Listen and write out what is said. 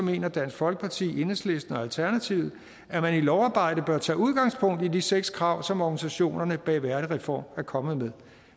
mener dansk folkeparti enhedslisten og alternativet at man i lovarbejdet bør tage udgangspunkt i de seks krav som organisationerne bag værdigreform er kommet med